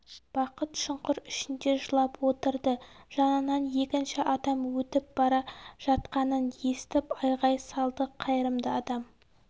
бақыт шұңқыр ішінде жылап отырды жанынан екінші адам өтіп бара жатқанын естіп айғай салды қайырымды адам